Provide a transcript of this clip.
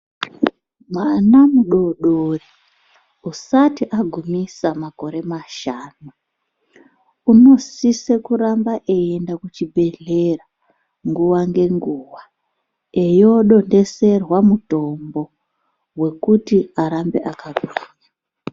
Mwana mudodori usati agumisa makore mashanu, unosise kuramba eiende kuchibhedhlera, nguwa ngenguwa, eindodonhedzerwa mutombo wekuti arambe akagwinya.